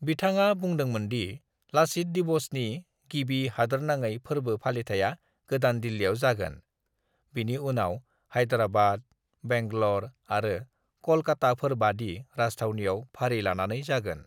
"बिथाङा बुदोंमोनदि 'लाचित दिवस' नि गिबि हादोरनाङै फोरबो फालिथाया गोदान दिल्लिआव जागोन, बिनि उनाव हैदराबाद, बेंगलर आरो कलकाताफोरबादि राजथावनिआव फारि लानानै जागोन।"